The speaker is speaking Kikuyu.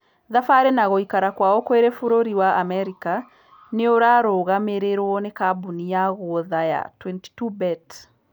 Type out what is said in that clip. Thabarĩ na gũikarqkwaokwiri bũrũri wa america nĩũrarũgamĩrĩirwo nĩ kambũni ya guotha ya 22bet.